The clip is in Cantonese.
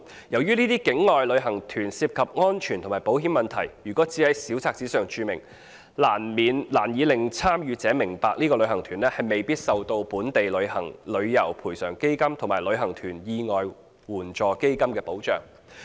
由於這些境外旅行團涉及安全和保險問題，如果只在小冊子上註明，難以令參與者明白該旅行團未必受到本地旅遊業賠償基金及旅行團意外緊急援助基金計劃保障。